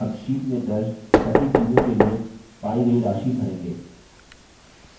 अब sheet में दर्ज सभी चीज़ों के लिए पायी गयी राशि भरेंगे